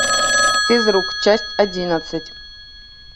физрук часть одиннадцать